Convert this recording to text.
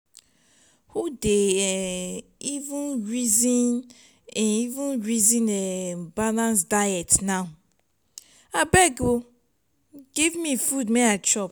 who dey um even resin even resin um balance diet now? abeg um give me food.